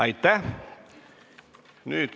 Aitäh!